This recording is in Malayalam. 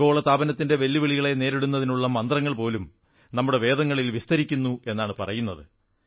ആഗോള താപനത്തിന്റെ വെല്ലുകളികളെ നേരിടുന്നതിനുള്ള മന്ത്രങ്ങൾ പോലും നമ്മുടെ വേദങ്ങളിൽ വിസ്തരിക്കുന്നു എന്നാണ് പറയുന്നത്